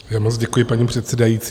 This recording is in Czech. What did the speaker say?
Moc děkuji, paní předsedající.